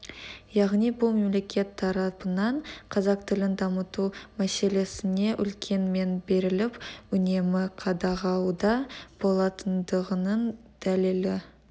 яғни бұл мемлекет тарапынан қазақ тілін дамыту мәселесіне үлкен мән беріліп үнемі қадағалауда болатындығының дәлелі